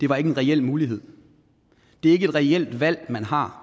var en reel mulighed det er ikke et reelt valg man har